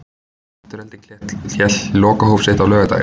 Afturelding hélt lokahóf sitt á laugardaginn.